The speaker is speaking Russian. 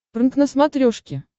прнк на смотрешке